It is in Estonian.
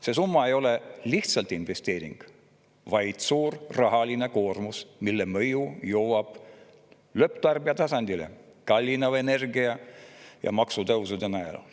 See summa ei ole lihtsalt investeering, vaid suur rahaline koormus, mille mõju jõuab lõpptarbija tasandile kallineva energia ja maksutõusude näol.